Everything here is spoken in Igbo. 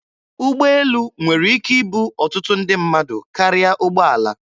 Ụgbọelu nwere ike ibu ọtụtụ ndị mmadụ karịa ụgbọala.